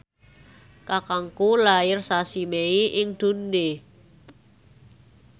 kakangku lair sasi Mei ing Dundee